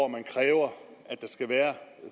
man kræver at der skal være